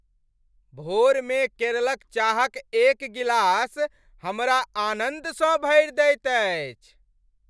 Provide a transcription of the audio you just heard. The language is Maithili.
भोरमे केरलक चाहक एक गिलास हमरा आनन्दसँ भरि दैत अछि।